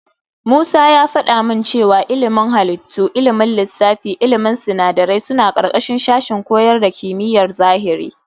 Musa ya faɗa min cewa ilimin halittu, ilimin lissafi da ilimin sinadarai suna ƙarƙashin sashen koyar da kimiyar zahiri.